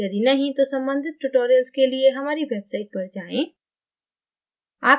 यदि नहीं तो सम्बंधित tutorials के लिए हमारी website पर जाएँ